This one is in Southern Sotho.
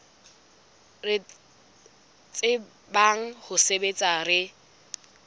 re tsebang ho sebetsa re